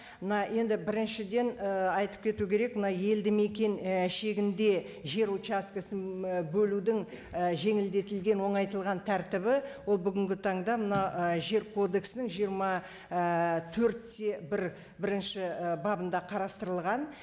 мына енді біріншіден ііі айтып кету керек мына елді мекен і шегінде жер участкісін бөлудің і жеңілдетілген оңайтылған тәртібі ол бүгінгі таңда мына і жер кодексінің жиырма ііі төрт те бір бірінші і бабында қарастырылған